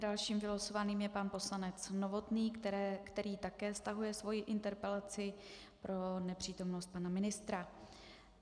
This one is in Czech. Dalším vylosovaným je pan poslanec Novotný, který také stahuje svou interpelaci pro nepřítomnost pana ministra.